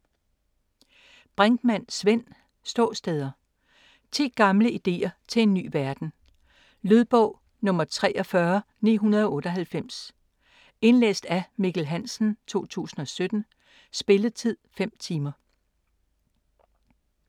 Brinkmann, Svend: Ståsteder: 10 gamle ideer til en ny verden Lydbog 43998 Indlæst af Mikkel Hansen, 2017. Spilletid: 5 timer.